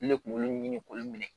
Ne kunkolo ɲini k'olu minɛ